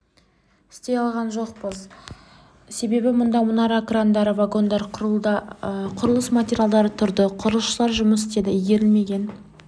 істей алған жоқпыз себебі мұнда мұнара крандары вагондар құрылыс материалдары тұрды құрылысшылар жұмыс істеді игерілмеген